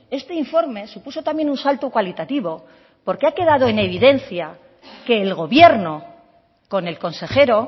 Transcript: este informe supuso también un salto cualitativo porque ha quedado en evidencia que el gobierno con el consejero